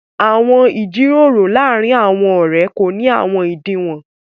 Àwọn ìjíròrò làárìn àwọn ọ̀rẹ̀ kò ní àwọn ìdíwọ̀n.